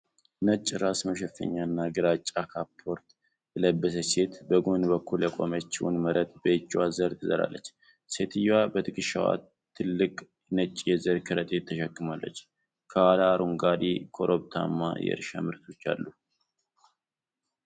ነጭ ራስ መሸፈኛና ግራጫ ካፖርት የለበሰች ሴት፣ በጎን በኩል የቆመችውን መሬት በእጅዋ ዘር ትዘራለች። ሴትየዋ በትከሻዋ ትልቅ ነጭ የዘር ከረጢት ተሸክማለች፤ ከኋላዋ አረንጓዴ፣ ኮረብታማ የእርሻ መሬቶች አሉ።